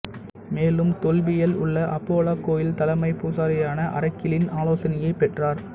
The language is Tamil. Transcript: மேலும் தெல்பியில் உள்ள அப்போலோ கோயில் தலைமை பூசாரியான ஆரக்கிளின் ஆலோசனையைப் பெற்றார்